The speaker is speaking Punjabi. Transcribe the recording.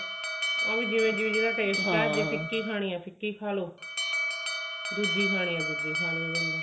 ਉਹ ਜਿਵੇਂ ਜਿਵੇਂ ਜਿਹਦਾ taste ਹੈ ਫਿੱਕੀ ਖਾਣੀ ਹੈ ਫਿੱਕੀ ਖਲੋ